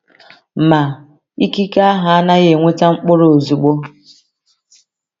Ma, ikike ahụ anaghị eweta mkpụrụ ozugbo.